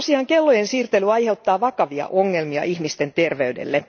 Kellojen siirtely aiheuttaa vakavia ongelmia ihmisten terveydelle.